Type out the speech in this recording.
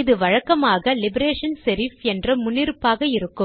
இது வழக்கமாக Liberation Serif என்ற முன்னிருப்பாக இருக்கும்